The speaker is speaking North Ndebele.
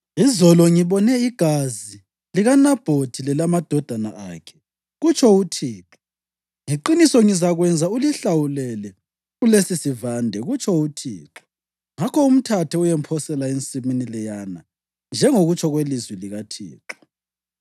‘Izolo ngibone igazi likaNabhothi lelamadodana akhe, kutsho uThixo, ngeqiniso ngizakwenza ulihlawulele kulesisivande, kutsho uThixo.’ Ngakho umthathe, uyemphosela ensimini leyana, njengokutsho kwelizwi likaThixo.”